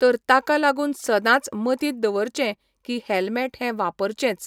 तर ताका लागून सदांच मतींत दवरचें की हॅलमॅट हें वापरचेंच.